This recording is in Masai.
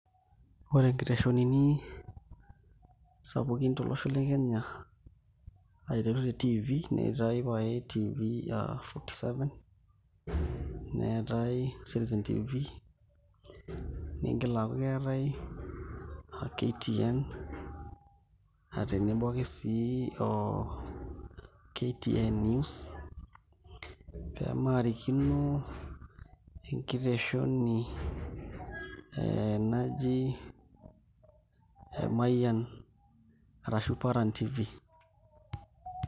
Ore nkiteshonini sapukin tolosho le Kenya aiteru te TV neetai pae aa TV Fourty Seven, neetai Citizen TV niigil aaku keetai KTN aa tenebo ake sii o KTN News, pee maarikino enkiteshoni ee naji Mayian arashu Paran Tv.